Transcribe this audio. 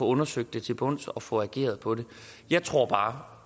undersøgt til bunds og få ageret på det jeg tror bare